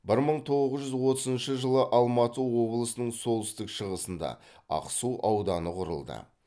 бір мың тоғыз жүз отызыншы жылы алматы облысының солтүстік шығысында ақсу ауданы құрылды